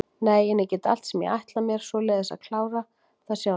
Nei en ég get allt sem ég ætla mér, svoleiðis að ég kláraði það sjálfur.